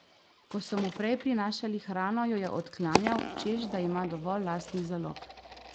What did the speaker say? Ko so mu prej prinašali hrano, jo je odklanjal, češ da ima dovolj lastnih zalog.